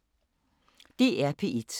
DR P1